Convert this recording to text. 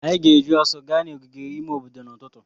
Anyị ga-eji ọsọ ga n'ogige ime obodo n'ụtụtụ.